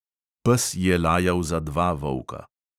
Pes je lajal za dva volka.